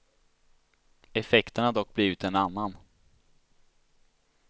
Effekten har dock blivit en annan.